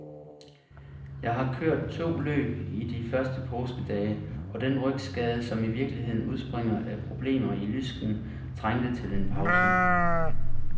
Jeg har kørt to løb i de første påskedage, og den rygskade, som i virkeligheden udspringer af problemer i lysken, trængte til en pause.